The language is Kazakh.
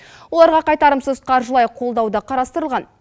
оларға қайтарымсыз қаржылай қолдау да қарастырылған